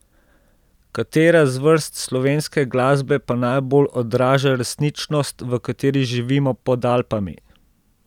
Katera zvrst slovenske glasbe pa najbolj odraža resničnost, v kateri živimo pod Alpami?